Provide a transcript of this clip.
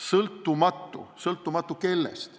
Sõltumatu kellest?